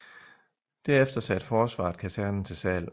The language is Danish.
Derefter satte Forsvaret kasernen til salg